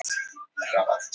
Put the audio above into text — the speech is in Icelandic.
Það er skítafýla af honum.